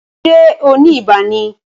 Ṣé o ni ibà ni?